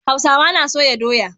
Hausawa na soya doya.